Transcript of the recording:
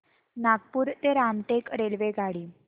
नागपूर ते रामटेक रेल्वेगाडी